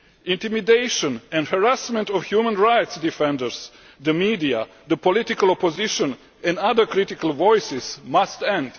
Intimidation and harassment of human rights defenders, the media, the political opposition and other critical voices must end.